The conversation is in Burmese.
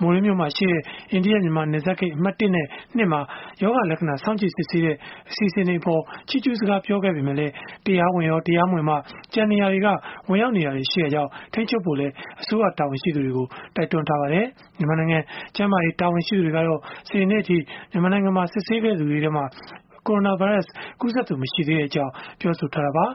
မိုရေးမြို့မှာရှိတဲ့ အိန္ဒိယ၊ မြန်မာ နယ်စပ်ဂိတ် အမှတ် ၁ နဲ့ ၂ မှာ ရောဂါလက္ခဏာ စောင့်ကြည့်စစ်ဆေးတဲ့ အစီအစဉ်တွေအပေါ် ချီးကျူးစကား ပြောခဲ့ပေမယ့်လည်း တရားဝင်ရော၊ တရားမဝင်ပါ ကျန်နေရာတွေက ဝင်ရောက်နေတာတွေ ရှိတာကြောင့် ထိန်းချုပ်ဖို့လည်း အစိုးရတာဝန်ရှိသူတွေကို တိုက်တွန်းထားပါတယ်။ မြန်မာနိုင်ငံ ကျန်းမာရေး တာဝန်ရှိသူတွေကတော့ စနေနေ့အထိ မြန်မာနိုင်ငံမှာ စစ်ဆေးခဲ့သူတွေထဲမှာ ကိုရိုနာဗိုင်းရပ်စ်ကူးစက်သူ မရှိသေးကြောင်း ပြောဆိုထားတာပါ